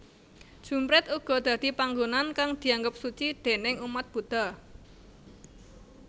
Jumprit uga dadi panggonan kang dianggep suci déning umat Budha